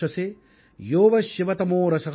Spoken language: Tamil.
சிவதமோரஸ தஸ்ய பாஜயதேஹந உஷதீரிவ மாதர